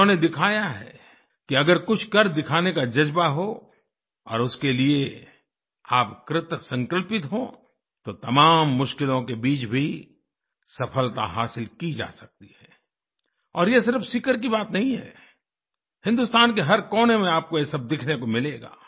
इन्होंने दिखाया है कि अगर कुछ कर दिखाने का जज़्बा हो और उसके लिए आप कृतसंकल्पित हों तो तमाम मुश्किलों के बीच भी सफलता हासिल की जा सकती है और ये सिर्फ सीकर की बात नहीं है हिन्दुस्तान के हर कोने में आपको ये सब देखने को मिलेगा